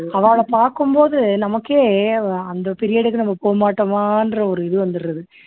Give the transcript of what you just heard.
அவாள பாக்கும் போது நமக்கே வ அந்த period க்கு நம்ம போக மாட்டோமான்ற ஒரு இது வந்துடுது